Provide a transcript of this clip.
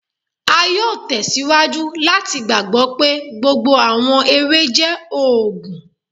A yóò tẹ síwájú láti gbàgbọ́ pé gbogbo àwọn ewé jẹ́ òògùn.